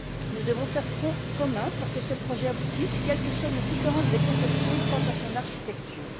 Nous devons faire front commun pour que ce projet aboutisse, quelles que soient nos différences de conception quant à son architecture.